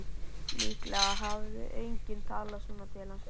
Líklega hafði enginn talað svona til hans fyrr.